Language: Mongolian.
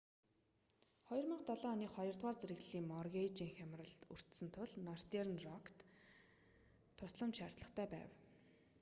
2007 оны хоёрдугаар зэрэглэлийн моргейжийн хямралд өртсөн тул нортерн рокт тусламж шаардлагатай байв